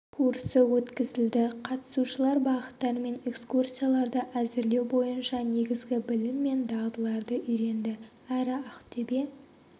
курсы өткізілді қатысушылар бағыттар мен экскурсияларды әзірлеу бойынша негізгі білім мен дағдыларды үйренді әрі ақтөбе